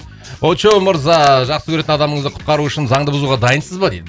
очоу мырза жақсы көретін адамыңызды құтқару үшін заңды бұзуға дайынсыз ба дейді